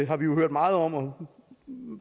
har vi jo hørt meget om og